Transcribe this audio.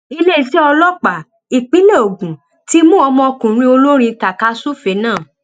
iléeṣẹ ọlọpàá ìpínlẹ ogun ti mú ọmọkùnrin olórin taakasùfẹẹ náà